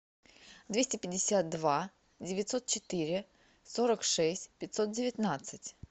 двести пятьдесят два девятьсот четыре сорок шесть пятьсот девятнадцать